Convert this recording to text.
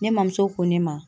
Ne mɔmuso ko ne ma